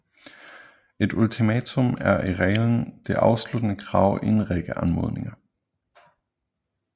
Et ultimatum er i reglen det afsluttende krav i en række anmodninger